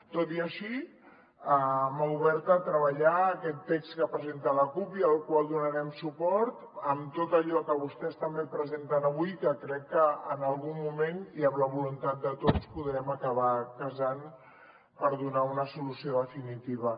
tot i així mà oberta a treballar aquest text que presenta la cup i al qual donarem suport en tot allò que vostès també presenten avui que crec que en algun moment i amb la voluntat de tots podrem acabar casant per donar una solució definitiva